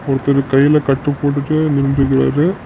ஒர்தரு கைல கட்டு போட்டுட்டு நின்டுக்குறாரு.